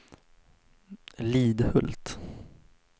Lidhult